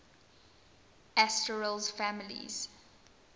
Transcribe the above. asterales families